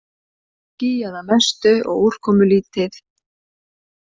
Skýjað að mestu og úrkomulítið